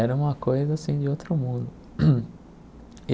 Era uma coisa assim de outro mundo.